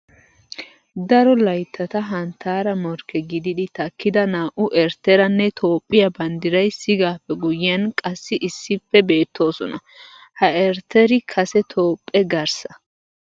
Daro layttata hanttaara morkke gididi takkida naa"u Eritteranne Toophphiya banddiray sigaappe guyyiyan qassi issippe beettoosona. Ha Eritteri kase Toophphe garssa.